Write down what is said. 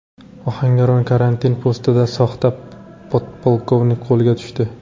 Ohangaron karantin postida soxta podpolkovnik qo‘lga tushdi .